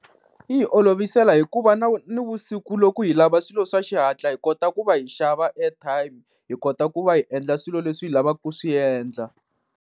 Yi hi olovisela hikuva nivusiku loko hi lava swilo swa xihatla hi kota ku va hi xava airtime, hi kota ku va hi endla swilo leswi hi lavaka ku swi endla.